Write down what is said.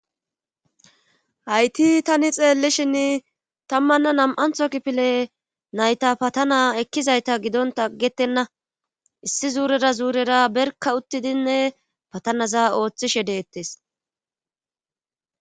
Hayti tani xeellishin tammanna nam7antho kifile nayta patana ekkizayta gidontagettenna issi zuurera zuurera berka uttidinne patanaza ooththishe deettes.